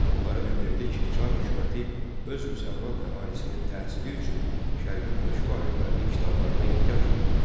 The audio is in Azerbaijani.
Onlara bildirdi ki, çər hökuməti öz müsəlman əhalisinin təhsili üçün şərqin məşhur alimlərinin kitablarına ehtiyac duyur.